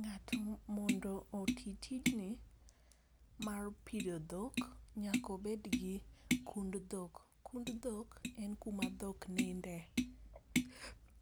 Ng'ato mondo otim tijni mar pidho dhok, nyaka obed gi kund dhok. Kund dhok en kuma dhok ninde,